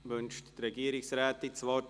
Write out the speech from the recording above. Wünscht die Regierungsrätin das Wort?